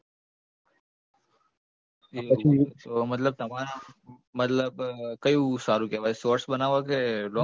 એવું છે તો મતલબ તમારા મતલબ કયું સારું કહેવાય shorts બનાવવા કે long